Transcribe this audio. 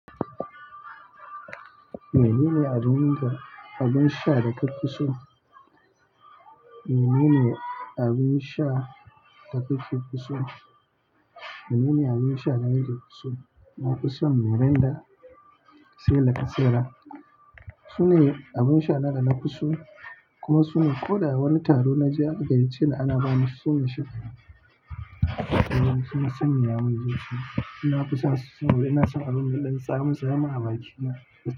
Menene abin sha da kake so? Menene abin sha da kake so? Menene abin sha da ka fi so? Na fi son Miranda, Se la kasera. Sune abin sha na dana fi so kuma suna ko da wani taro naje aka gayace ni ana bani su mashin. Suna sanyaya man jiki. Na fi son su saboda ina son abin mai ɗan tsamitsami abakina.